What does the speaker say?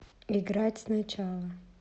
играть сначала